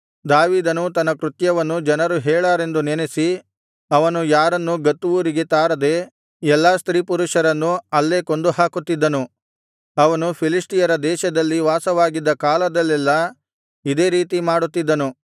ದಾವೀದನು ತನ್ನ ಕೃತ್ಯವನ್ನು ಜನರು ಹೇಳಾರೆಂದು ನೆನಸಿ ಅವನು ಯಾರನ್ನೂ ಗತ್ ಊರಿಗೆ ತಾರದೆ ಎಲ್ಲಾ ಸ್ತ್ರೀಪುರುಷರನ್ನು ಅಲ್ಲೇ ಕೊಂದುಹಾಕುತ್ತಿದ್ದನು ಅವನು ಫಿಲಿಷ್ಟಿಯರ ದೇಶದಲ್ಲಿ ವಾಸವಾಗಿದ್ದ ಕಾಲದಲ್ಲೆಲ್ಲಾ ಇದೇ ರೀತಿ ಮಾಡುತ್ತಿದ್ದನು